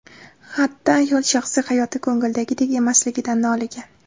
Xatda ayol shaxsiy hayoti ko‘ngildagidek emasligidan noligan.